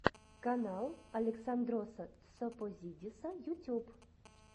канал александроса тсопозидиса ютюб